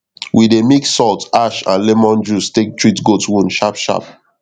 we dey mix salt ash and lemon juice take treat goat wound sharpsharp